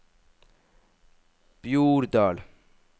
Bjordal